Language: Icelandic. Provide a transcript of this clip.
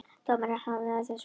Dómari hafnaði þessari kröfu